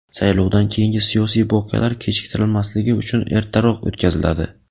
saylovdan keyingi siyosiy voqealar kechiktirilmasligi uchun ertaroq o‘tkaziladi.